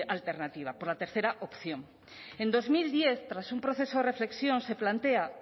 alternativa por la tercera opción en dos mil diez tras un proceso de reflexión se plantea